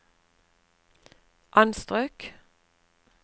anstrøk